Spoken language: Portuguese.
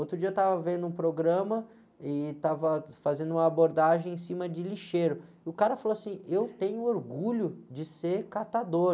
Outro dia eu estava vendo um programa e estava fazendo uma abordagem em cima de lixeiro, e o cara falou assim, eu tenho orgulho de ser catador.